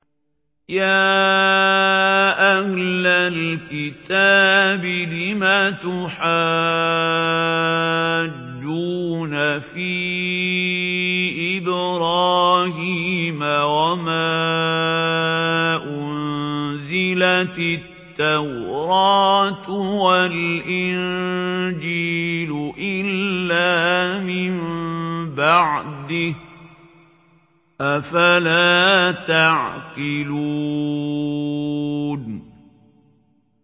يَا أَهْلَ الْكِتَابِ لِمَ تُحَاجُّونَ فِي إِبْرَاهِيمَ وَمَا أُنزِلَتِ التَّوْرَاةُ وَالْإِنجِيلُ إِلَّا مِن بَعْدِهِ ۚ أَفَلَا تَعْقِلُونَ